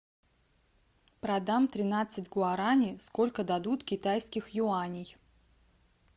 продам тринадцать гуарани сколько дадут китайских юаней